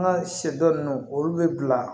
An ka sɛ dɔ ninnu olu bɛ bila